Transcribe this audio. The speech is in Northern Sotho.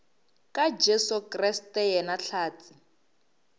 ka jesu kriste yena hlatse